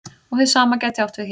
Og hið sama gæti átt við hér.